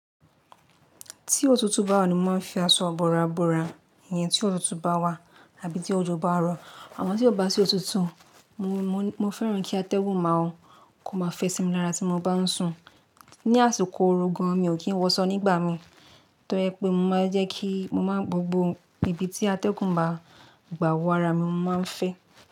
Tí òtútù bá wà ni mo máa ń fi aṣọ ibọ̀ràbọ̀rà yẹn tí òtútù bá wà àbí tí òjò bá rọ̀. Àmon tí kò bá sí òtútù, mo, mo, mo fẹ́ràn kí atẹ́gùn máa, kó má fẹ́ sí mi lára tí mo bá ń sùn. Ni àsìkò oru gan, mi ò kí ń wọ san nígbà mi, torí ẹ pé mo máa ń jẹ́ kí mo máa gbogbo ibi tí atẹ́gùn bá gbà wọ ara mi, mo máa ń fẹ́.